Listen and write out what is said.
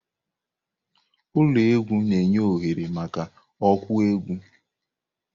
Ụlọ egwu na-enye oghere maka okwu egwu.